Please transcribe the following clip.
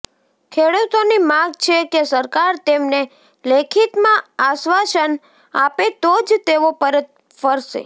ખેડૂતોની માગ છે કે સરકાર તેમને લેખિતમાં આશ્વાસન આપે તો જ તેઓ પરત ફરશે